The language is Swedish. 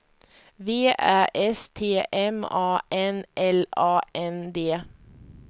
V Ä S T M A N L A N D